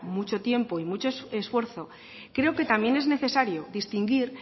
mucho tiempo y mucho esfuerzo creo que también es necesario distinguir